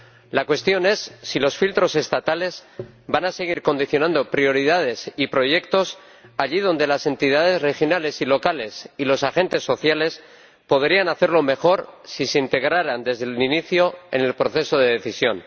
La cuestión es si los filtros estatales van a seguir condicionando prioridades y proyectos allí donde las entidades regionales y locales, y los agentes sociales, podrían hacerlo mejor si se integraran desde el inicio en el proceso de decisión.